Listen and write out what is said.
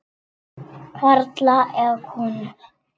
Karla eða konur.